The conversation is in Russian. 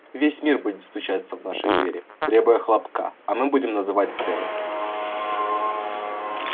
весь мир будет стучаться в наши двери требуя хлопка а мы будем называть цены